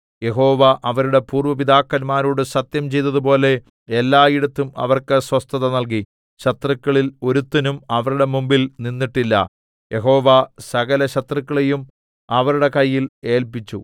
യഹോവ അവരുടെ പൂര്‍വ്വ പിതാക്കന്മാരോട് സത്യം ചെയ്തതുപോലെ എല്ലായിടത്തും അവർക്ക് സ്വസ്ഥത നല്കി ശത്രുക്കളിൽ ഒരുത്തനും അവരുടെ മുമ്പിൽ നിന്നിട്ടില്ല യഹോവ സകലശത്രുക്കളെയും അവരുടെ കയ്യിൽ ഏല്പിച്ചു